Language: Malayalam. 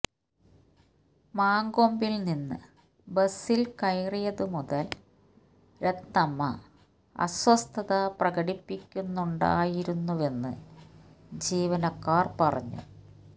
മങ്കൊമ്പില് നിന്ന് ബസില് കയറിയതു മുതല് രത്നമ്മ അസ്വസ്ഥത പ്രകടിപ്പിക്കുന്നുണ്ടായിരുന്നുവെന്ന് ജീവനക്കാര് പറഞ്ഞു